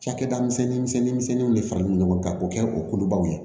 Cakɛda misɛnnin misɛnnin misɛnninw de fara ɲɔgɔn kan k'o kɛ o kolobaw ye